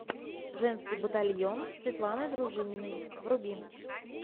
женский батальон светланы дружининой вруби